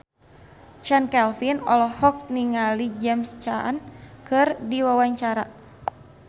Chand Kelvin olohok ningali James Caan keur diwawancara